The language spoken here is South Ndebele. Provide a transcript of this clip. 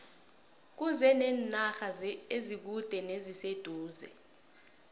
kuze nenarha ezikude neziseduze